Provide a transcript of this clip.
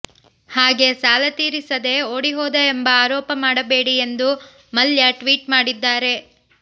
ಹಾಗೆ ಸಾಲ ತೀರಿಸದೆ ಓಡಿ ಹೋದ ಎಂಬ ಆರೋಪ ಮಾಡಬೇಡಿ ಎಂದು ಮಲ್ಯ ಟ್ವೀಟ್ ಮಾಡಿದ್ದಾರೆ